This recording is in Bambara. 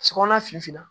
Sokɔnɔ finna